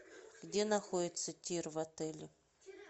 где находится тир в отеле